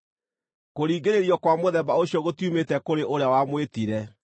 Kũringĩrĩrio kwa mũthemba ũcio gũtiumĩte kũrĩ ũrĩa wamwĩtire.